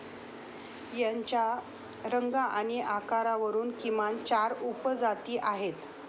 याच्या रंग आणि आकारावरून किमान चार उपजाती आहेत.